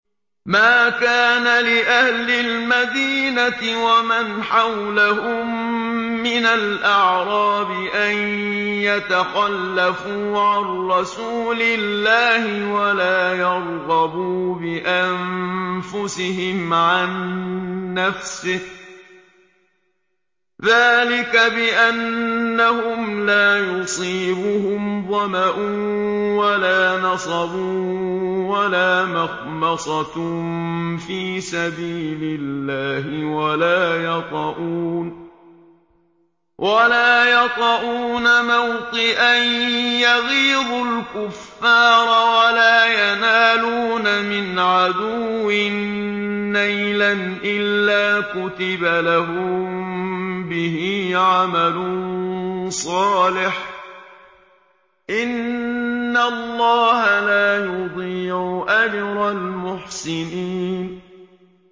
مَا كَانَ لِأَهْلِ الْمَدِينَةِ وَمَنْ حَوْلَهُم مِّنَ الْأَعْرَابِ أَن يَتَخَلَّفُوا عَن رَّسُولِ اللَّهِ وَلَا يَرْغَبُوا بِأَنفُسِهِمْ عَن نَّفْسِهِ ۚ ذَٰلِكَ بِأَنَّهُمْ لَا يُصِيبُهُمْ ظَمَأٌ وَلَا نَصَبٌ وَلَا مَخْمَصَةٌ فِي سَبِيلِ اللَّهِ وَلَا يَطَئُونَ مَوْطِئًا يَغِيظُ الْكُفَّارَ وَلَا يَنَالُونَ مِنْ عَدُوٍّ نَّيْلًا إِلَّا كُتِبَ لَهُم بِهِ عَمَلٌ صَالِحٌ ۚ إِنَّ اللَّهَ لَا يُضِيعُ أَجْرَ الْمُحْسِنِينَ